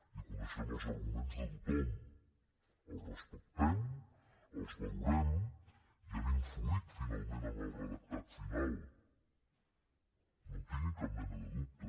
i coneixem els arguments de tothom els respectem els valorem i han influït finalment en el redactat final no en tinguin cap mena de dubte